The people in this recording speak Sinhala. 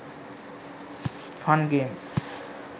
fun games